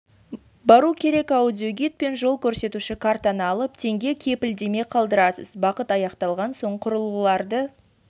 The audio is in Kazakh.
бару керек аудиогид пен жол көрсетуші картаны алып теңге кепілдеме қалдырасыз бағыт аяқталған соң құрылғыларды